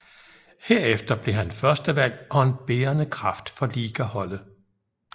Herefter blev han førstevalg og en bærende kraft for ligaholdet